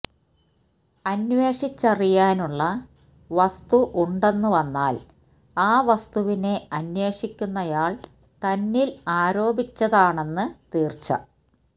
അന്വേഷിച്ചറിയാനുള്ള വസ്തു ഉണ്ടെന്നുവന്നാല് ആ വസ്തുവിനെ അന്വേഷിക്കുന്നയാള് തന്നില് ആരോപിച്ചതാണെന്നു തീര്ച്ച